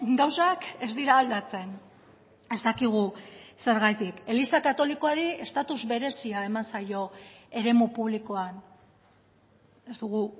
gauzak ez dira aldatzen ez dakigu zergatik eliza katolikoari estatuz berezia eman zaio eremu publikoan ez dugu